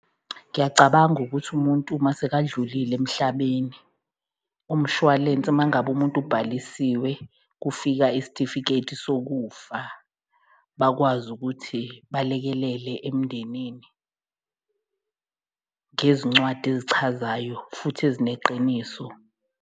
Ngiyacabanga ukuthi umuntu mase kadlulile emhlabeni umshwalense, uma ngabe umuntu ubhalisiwe kufika isitifiketi sokufa, bakwazi ukuthi balekelele emndenini ngezincwadi ezichazayo futhi ezineqiniso.